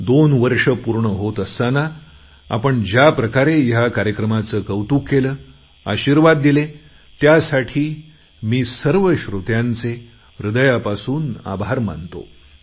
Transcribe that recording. दोन वर्षं पूर्ण होत असताना आपण ज्याप्रकारे ह्या कार्याक्रमाचे कौतुक केलं आशीर्वाद दिले त्यासाठी मी सर्व श्रोत्यांचे हृदयापासून आभार मानतो